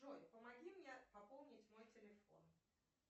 джой помоги мне пополнить мой телефон